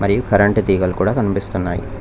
ఇవ్ కరెంటు తీగలు కూడా కనిపిస్తున్నాయి.